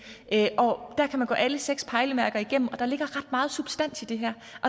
der kan man gå alle seks pejlemærker igennem og der ligger ret meget substans i det her